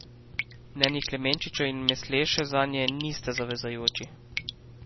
Mnenji Klemenčiča in Masleše zanje nista zavezujoči.